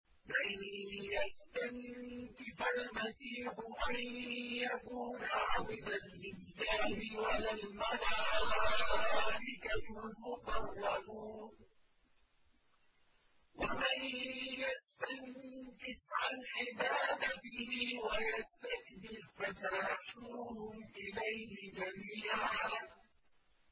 لَّن يَسْتَنكِفَ الْمَسِيحُ أَن يَكُونَ عَبْدًا لِّلَّهِ وَلَا الْمَلَائِكَةُ الْمُقَرَّبُونَ ۚ وَمَن يَسْتَنكِفْ عَنْ عِبَادَتِهِ وَيَسْتَكْبِرْ فَسَيَحْشُرُهُمْ إِلَيْهِ جَمِيعًا